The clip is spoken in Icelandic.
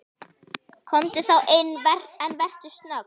Komdu þá inn, en vertu snögg.